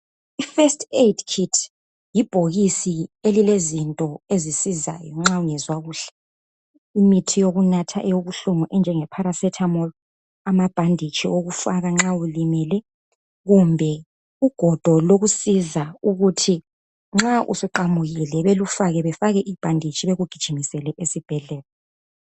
Ifirst aid kit yibhokisi elilezinto ezisizayo nxa ungezwa kuhle. Imithi yokunatha eyobuhlungu enjengeparacetamol amabhanditshi okufaka ukuthi nxa ulimele kumbe ugodo lokusiza ukuthi nxa usuqamukile belufake bafake ibhanditshi bakugijimisele esibhedlela.